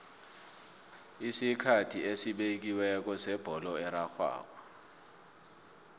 isikhathi esibekiweko sebholo erarhwako